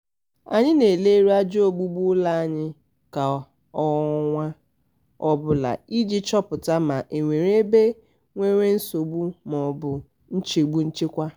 anyị na-eleru aja ogbugbu ụlọ anya kwa ọnwa ọbụla iji chọpụta ma e nwere ebe nwere nsogbu maọbụ nchegbu nchekwa.